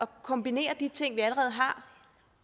kombinere de ting vi allerede har